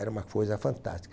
Era uma coisa fantástica.